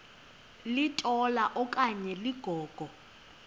litola okanye ligogo